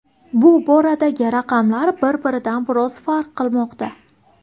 Bu boradagi raqamlar bir-biridan biroz farq qilmoqda.